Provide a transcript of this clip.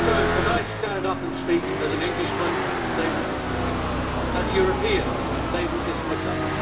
If I stand up and speak as an Englishman, they will dismiss it. As Europeans, they will dismiss us.